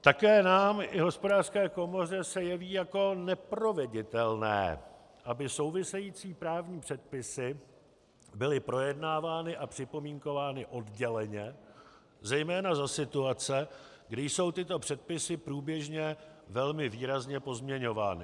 Také nám i Hospodářské komoře se jeví jako neproveditelné, aby související právní předpisy byly projednávány a připomínkovány odděleně zejména za situace, kdy jsou tyto předpisy průběžně velmi výrazně pozměňovány.